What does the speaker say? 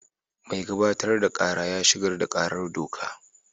Mai gabatar da kara ya shigar da karar doka.